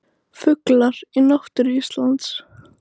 Fuglar í náttúru Íslands.